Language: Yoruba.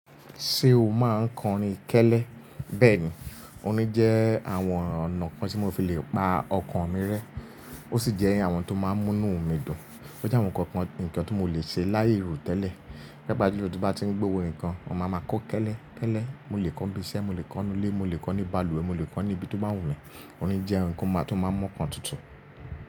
Ṣé o máa ń kọrin kẹ́lẹ́? Bẹ́ẹ̀ni, omi jẹ́ àwọn ọ̀nà kan tí mo fi le pa ọkàn mi rẹ́. Ó sì jẹ́ àwọn tó máa ń mú inú mi dùn. Ó jẹ́ àwọn ǹkan kan nìkan tó mo lè ṣe láì ro tẹ́lẹ̀. Pàápàá jùlọ tí mo bá tí ń gbé owó nǹkan, mo máa ma ko kẹ́lẹ́, kẹ́lẹ́. Mo lè kọ́ bí iṣẹ́, mo lè kọ́ nílé, mo lè kọ́ ní balùwẹ̀, mo lè kọ́ ní ibi tó máa wù mí. Orin jẹ́ ǹkan kan tó máa ń mú ọkàn tutù.